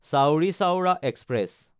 Chauri Chaura express